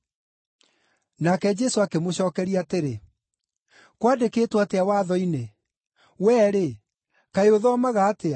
Nake Jesũ akĩmũcookeria atĩrĩ, “Kwandĩkĩtwo atĩa Watho-inĩ? Wee-rĩ, kaĩ ũthomaga atĩa?”